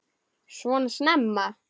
Svona snemma?